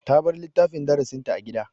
Ta bar littafin darasinta a gida.